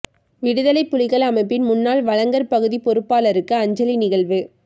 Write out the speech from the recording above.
விடுதலைப் புலிகள் அமைப்பின் முன்னாள் வழங்கற் பகுதிப் பொறுப்பாளருக்கு அஞ்சலி நிகழ்வு